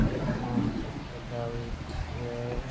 एक कोनोह पर हॉस्पिटल हिये।